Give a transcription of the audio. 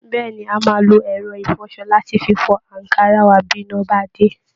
Bẹ́ẹ̀ ni, a máa lo ẹ̀rọ ìfọṣọ láti fi fọ àǹkárá wa bí iná bá dé